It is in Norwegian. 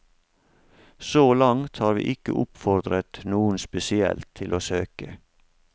Så langt har vi ikke oppfordret noen spesielt til å søke.